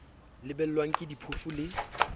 lebellwang ke diphofu le a